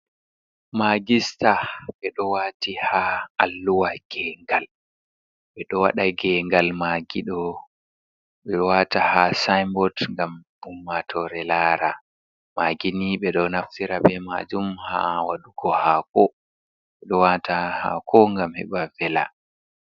Maaagi staa, ɓe ɗo waati ha alluha gengal, ɓe ɗo waɗa gengal maagi ɗo ɓe waata ha saainbot ngam umaatoore laara. Maagi ni, ɓe ɗo naftira be maajum ha waɗugo haako, ɓe ɗo waata ha haako ngam heɓa vela.